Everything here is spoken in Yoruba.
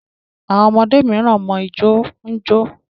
Àwọn ọmọdé miran mọ ìjọ ñjo.